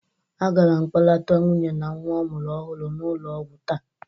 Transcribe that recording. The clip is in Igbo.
Agara m kpọlata nwunye na nwa ọ mụrụ ọhụrụ n'ụlọ ọgwụ taa.